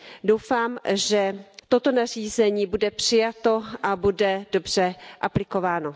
Doufám, že toto nařízení bude přijato a bude dobře aplikováno.